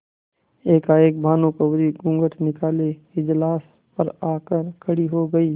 एकाएक भानुकुँवरि घूँघट निकाले इजलास पर आ कर खड़ी हो गयी